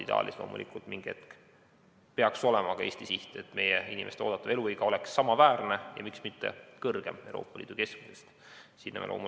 Ideaalis peaks loomulikult olema ka Eesti siht, et meie inimeste oodatav eluiga oleks samaväärne Euroopa Liidu keskmisega ja miks mitte pikem.